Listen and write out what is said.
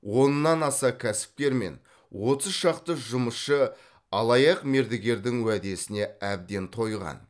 оннан аса кәсіпкер мен отыз шақты жұмысшы алаяқ мердігердің уәдесіне әбден тойған